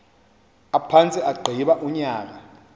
aphantse agqiba unyaka